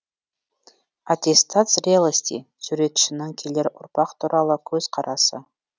аттестат зрелости суретшінің келер ұрпақ туралы көзқарасы